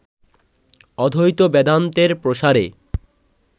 অদ্বৈত বেদান্তের প্রসারে